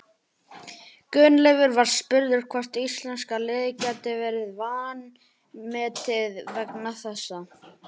Gunnleifur var spurður hvort íslenska liðið gæti verið vanmetið vegna þessa.